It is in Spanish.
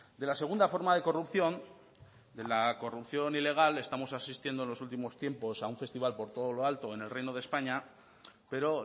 de la segunda forma de corrupción de la corrupción ilegal estamos asistiendo en los últimos tiempos a un festival por todo lo alto en el reino de españa pero